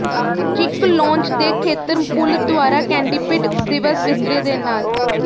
ਚਿਕ lounge ਦੇ ਖੇਤਰ pool ਦੁਆਰਾ ਕੈਨਡਿਪੀਡ ਦਿਵਸ ਬਿਸਤਰੇ ਦੇ ਨਾਲ